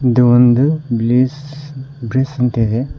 ಇದು ಒಂದು bliss bliss ಅಂತ ಇದೆ.